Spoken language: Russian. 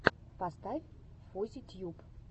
поставь фузи тьюб